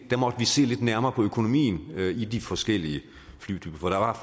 der måtte vi se lidt nærmere på økonomien i de forskellige flytyper for der var